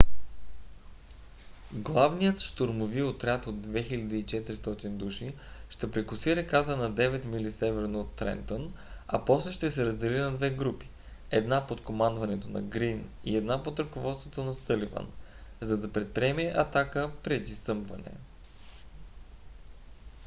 главният щурмови отряд от 2 400 души ще прекоси реката на 9 мили северно от трентън а после ще се раздели на две групи една под командването на грийн и една под ръководството на съливан за да предприеме атака преди съмване